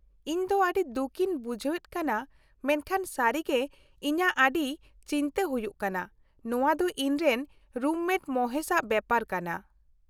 -ᱤᱧ ᱫᱚ ᱟᱹᱰᱤ ᱫᱩᱠᱤᱧ ᱵᱩᱡᱷᱦᱟᱹᱣᱮᱫ ᱠᱟᱱᱟ ᱢᱮᱱᱠᱷᱟᱱ ᱥᱟᱹᱨᱤ ᱜᱮ ᱤᱧᱟᱹᱜ ᱟᱹᱰᱤ ᱪᱤᱱᱛᱟᱹ ᱦᱩᱭᱩᱜ ᱠᱟᱱᱟ ᱾ ᱱᱚᱶᱟ ᱫᱚ ᱤᱧᱨᱮᱱ ᱨᱩᱢᱢᱮᱴ ᱢᱚᱦᱮᱥᱼᱟᱜ ᱵᱮᱯᱟᱨ ᱠᱟᱱᱟ ᱾